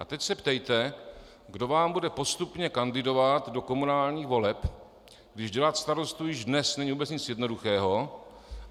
A teď se ptejte, kdo vám bude postupně kandidovat do komunálních voleb, když dělat starostu již dnes není vůbec nic jednoduchého.